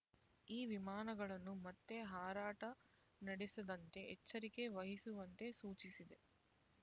ಈ ವಿಮಾನಗಳನ್ನು ಮತ್ತೆ ಹಾರಾಟ ನಡೆಸದಂತೆ ಎಚ್ಚರಿಕೆ ವಹಿಸುವಂತೆ ಸೂಚಿಸಿದೆ